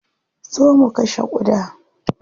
Zo mu kashe ƙuda.